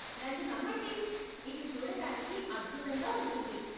నన్ను నమ్మండి, ఇది చూడటానికి అద్భుతంగా ఉంటుంది.